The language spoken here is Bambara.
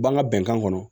B'an ka bɛnkan kɔnɔ